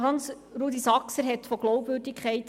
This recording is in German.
Hans-Rudolf Saxer sprach von Glaubwürdigkeit.